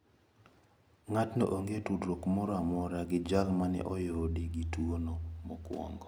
Ngatno onge tudruok moro amora gi jal mane oyudi gi tuono mokuongo.